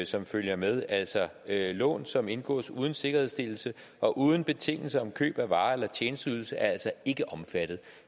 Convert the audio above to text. som følger med altså lån som indgås uden sikkerhedsstillelse og uden betingelse om køb eller vare eller tjenesteydelse er ikke omfattet